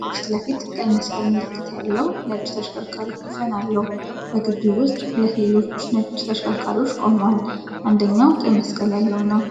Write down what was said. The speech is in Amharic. ከፊት ለፊት ቀይ መስቀል ምልክት ያለው ነጭ ተሽከርካሪ ኮፈን አለው። በግቢው ውስጥ ሁለት ሌሎች ነጭ ተሽከርካሪዎች ቆመዋል፣ አንደኛው ቀይ መስቀል ያለው ነው።